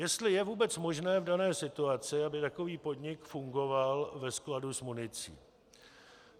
Jestli je vůbec možné v dané situaci, aby takový podnik fungoval ve skladu s municí.